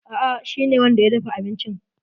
A'a, shi ne wanda ya dafa abincin.